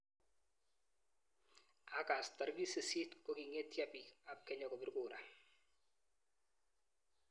August tarik sisit, kokingetyo piik ap. Kenya kopir kura